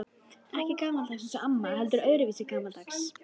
Ekki gamaldags eins og amma, heldur öðruvísi gamaldags.